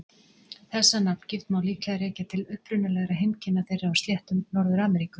Þessa nafngift má líklega rekja til upprunalegra heimkynna þeirra á sléttum Norður-Ameríku.